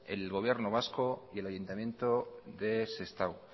el gobierno vasco y el ayuntamiento de sestao